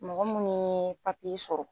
Mɔgɔ minnu ye sɔrɔ.